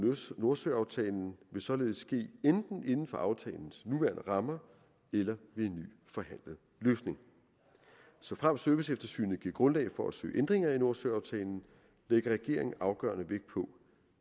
nordsøaftalen vil således ske enten inden for aftalens nuværende rammer eller ved en ny forhandlet løsning såfremt serviceeftersynet giver grundlag for at søge ændringer af nordsøaftalen lægger regeringen afgørende vægt på